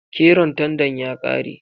Keron tandan ya kare.